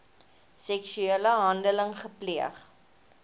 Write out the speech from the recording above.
seksuele handeling gepleeg